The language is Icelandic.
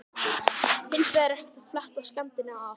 Hins vegar er hægt að fletta skemmdinni af.